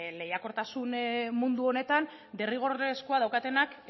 lehiakortasun mundu honetan derrigorrezkoa daukatenak